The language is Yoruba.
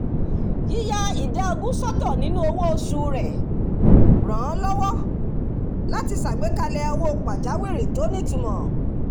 yìya ìdá ogún sọ́tọ̀ nínú owó oṣù rẹ̀ ràn án lọ́wọ́ láti ṣàgbékalẹ̀ owó pàjáwìrì tó nítumọ̀